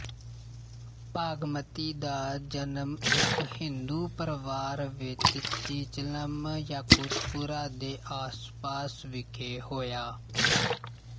ਭਾਗਮਤੀ ਦਾ ਜਨਮ ਇੱਕ ਹਿੰਦੂ ਪਰਿਵਾਰ ਵਿੱਚ ਚੀਚਲਮ ਯਾਕੁਤਪੁਰਾ ਦੇ ਆਸ ਪਾਸ ਵਿੱਖੇ ਹੋਇਆ